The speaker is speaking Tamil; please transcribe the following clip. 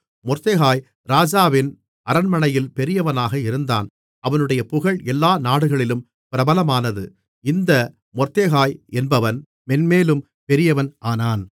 மொர்தெகாய் ராஜாவின் அரண்மனையில் பெரியவனாக இருந்தான் அவனுடைய புகழ் எல்லா நாடுகளிலும் பிரபலமானது இந்த மொர்தெகாய் என்பவன் மேன்மேலும் பெரியவன் ஆனான்